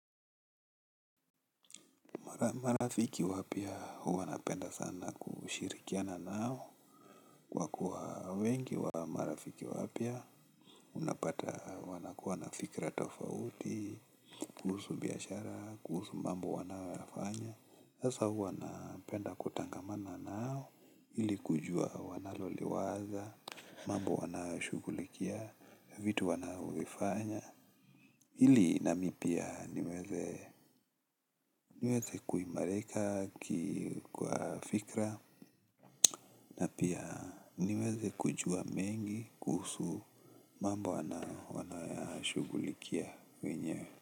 Marafiki wapya huwa napenda sana kushirikiana nao, kwa kuwa wengi wa marafiki wapya unapata wanakuwa na fikra tofauti, kuhusu biashara, kuhusu mambo wanayoyafanya. Sasa huwa napenda kutangamana nao ili kujua wanaloliwaza, mambo wanayoshughulikia, vitu wanaovifanya. Ili nami pia niweze kuimarika kwa fikra na pia niweze kujua mengi kuhusu mambo wanayoyashugulikia wenyewe.